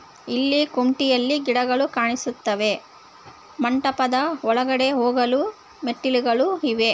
ಇಲ್ಲಿ ಕುಂಟಿಯಲ್ಲಿ ಗಿಡಗಳು ಕಾಣಿಸುತ್ತವೆ ಮಂಟಪದ ಒಳಗಡೆ ಹೋಗಲು ಮೆಟ್ಟಿಲುಗಳಿವೆ.